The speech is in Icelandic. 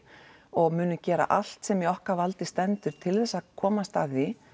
og munum gera allt sem í okkar valdi stendur til þess að komast að því